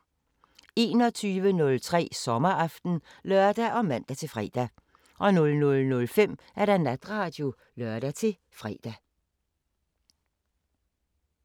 21:03: Sommeraften (lør og man-fre) 00:05: Natradio (lør-fre)